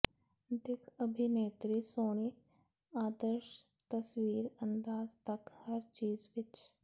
ਦਿੱਖ ਅਭਿਨੇਤਰੀ ਸੋਹਣੀ ਆਦਰਸ਼ ਤਸਵੀਰ ਅੰਦਾਜ਼ ਤੱਕ ਹਰ ਚੀਜ਼ ਵਿੱਚ